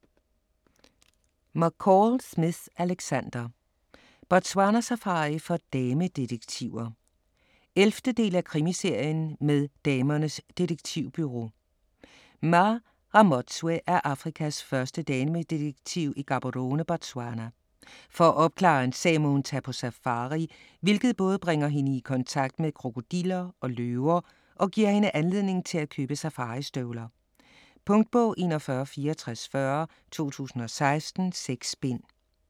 McCall Smith, Alexander: Botswanasafari for damedetektiver 11. del af Krimiserien med Damernes Detektivbureau. Mma Ramotswe er Afrikas første damedetektiv i Gaborone, Botswana. For at opklare en sag må hun tage på safari, hvilket både bringer hende i kontakt med krokodiller og løver og giver hende anledning til at købe safaristøvler. Punktbog 416440 2016. 6 bind.